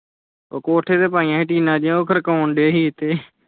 ਉਹ ਕੋਠੇ ਤੇ ਪਾਇਆ ਸੀ ਟੀਨਾਂ ਜਹੀਆਂ ਉਹ ਖੜ੍ਹ ਕੋਣ ਦਏ ਸੀ ਇੱਥੇ।